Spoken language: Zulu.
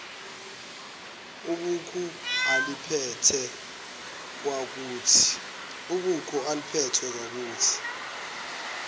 ibhuku aliphethe kwakuthi